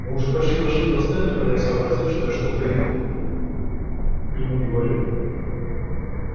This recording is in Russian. и мы уже почти дошли до стенда когда я сообразил что я-то ничего ему не говорил